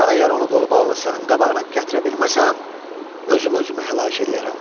Mən əgər onu qolu bağlı sənin qabağına gətirə bilməsəm, özüm özümü həlak eləyərəm.